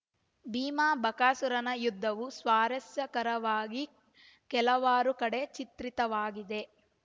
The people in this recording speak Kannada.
ಭೀಮಬಕಾಸುರನ ಯುದ್ಧವೂ ಸ್ವಾರಸ್ಯಕರವಾಗಿ ಕೆಲವಾರು ಕಡೆ ಚಿತ್ರಿತವಾಗಿದೆ